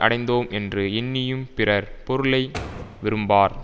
அடைந்தோம் என்று எண்ணியும் பிறர் பொருளை விரும்பார்